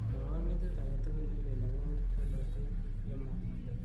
mwowon metit agetugun nelel agopo bolotet yemong'